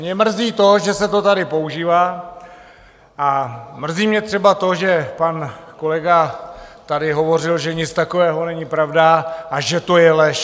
Mě mrzí to, že se to tady používá, a mrzí mě třeba to, že pan kolega tady hovořil, že nic takového není pravda a že to je lež.